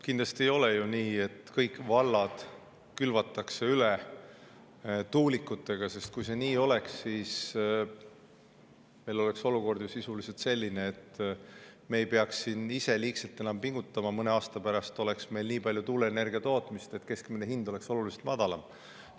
Kindlasti ei ole nii, et kõik vallad külvatakse üle tuulikutega, sest kui see nii oleks, siis meil oleks olukord ju sisuliselt selline, et me ei peaks siin ise liigselt enam pingutama, sest mõne aasta pärast oleks meil nii palju tuuleenergia tootmist, et keskmine hind oleks oluliselt madalam.